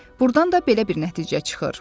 Burdan da belə bir nəticə çıxır.